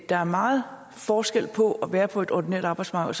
er meget forskel på at være på et ordinært arbejdsmarked